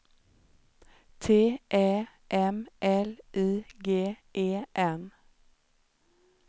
T Ä M L I G E N